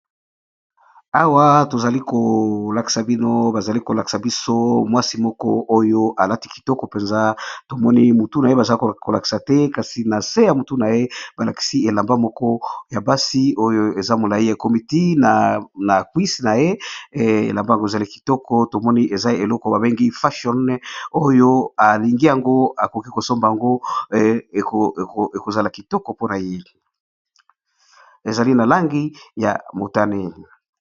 Awa balakisi biso mwasi moko oyo alati kitoko mpenza tomoni mutu na ye bazali kolakisa te kasi na se ya motu na ye balakisi elamba moko ya basi oyo eza molai ekomiti na genoux na ye elambango ezali kitoko tomoni eza eloko babengi fashion oyo alingi yango akoki kosomba yango ekozaa kitoko mpona ye ezali na langi ya motane